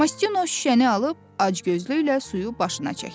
Mastino şüşəni alıb acgözlüklə suyu başına çəkdi.